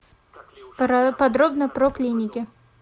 подробно про клиники